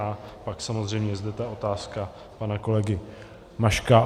A pak samozřejmě je zde ta otázka pana kolegy Maška.